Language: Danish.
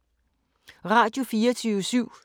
Radio24syv